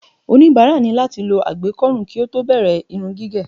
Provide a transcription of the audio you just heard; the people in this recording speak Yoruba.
oníbàárà ni láti lo àgbékó̩rùn kí ó tó bẹ̀rẹ̀ Irun gígé